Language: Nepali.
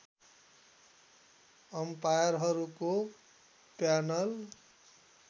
अम्पायरहरूको प्यानल